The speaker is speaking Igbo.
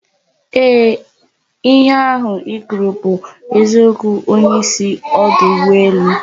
Ehee! Ihe ahu I kwuru but eziokwu onyeisi odu ugboelu